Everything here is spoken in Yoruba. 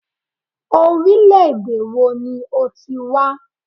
Orílẹ̀-èdè wo ni o ti wá?